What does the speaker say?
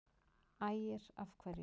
Ægir: Af hverju?